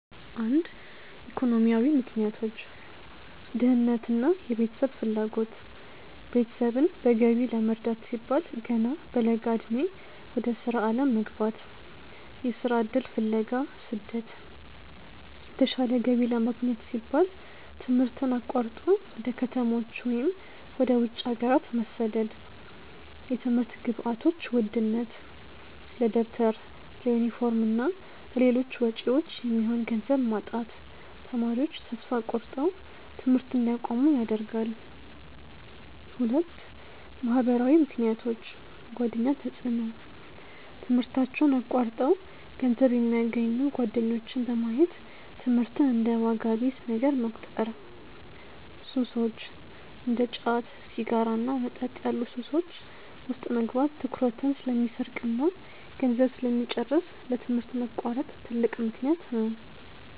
1. ኢኮኖሚያዊ ምክንያቶች .ድህነትና የቤተሰብ ፍላጎት፦ ቤተሰብን በገቢ ለመርዳት ሲባል ገና በለጋ ዕድሜ ወደ ሥራ ዓለም መግባት። .የሥራ ዕድል ፍለጋ (ስደት)፦ የተሻለ ገቢ ለማግኘት ሲባል ትምህርትን አቋርጦ ወደ ከተሞች ወይም ወደ ውጭ ሀገራት መሰደድ። .የትምህርት ግብዓቶች ውድነት፦ ለደብተር፣ ለዩኒፎርምና ለሌሎች ወጪዎች የሚሆን ገንዘብ ማጣት ተማሪዎች ተስፋ ቆርጠው ትምህርት እንዲያቆሙ ያደርጋል። 2. ማኅበራዊ ምክንያቶች .የጓደኛ ተጽዕኖ፦ ትምህርታቸውን አቋርጠው ገንዘብ የሚያገኙ ጓደኞችን በማየት ትምህርትን እንደ ዋጋ ቢስ ነገር መቁጠር። .ሱሶች፦ እንደ ጫት፣ ሲጋራና መጠጥ ያሉ ሱሶች ውስጥ መግባት ትኩረትን ስለሚሰርቅና ገንዘብ ስለሚጨርስ ለትምህርት መቋረጥ ትልቅ ምክንያት ነው።